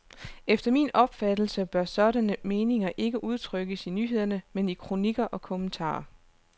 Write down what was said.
Efter min opfattelse bør sådanne meninger ikke udtrykkes i nyhederne, men i kronikker og kommentarer.